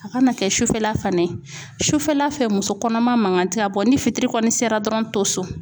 A kana kɛ sufɛla fana ye ,sufɛla fɛ ,muso kɔnɔma mankan tɛ ka bɔ ni fitiri kɔni sera dɔrɔn to so